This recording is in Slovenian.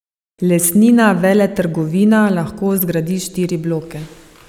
Lesnina veletrgovina lahko zgradi štiri bloke.